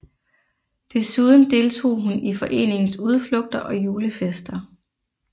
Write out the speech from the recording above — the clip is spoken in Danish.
Desuden deltog hun i foreningens udflugter og julefester